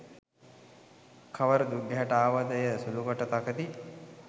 කවර දුක් ගැහැටක් ආවද එය සුළුකොට තකති.